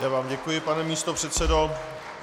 Já vám děkuji, pane místopředseda.